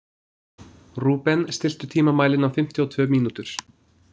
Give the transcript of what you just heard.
Rúben, stilltu tímamælinn á fimmtíu og tvö mínútur.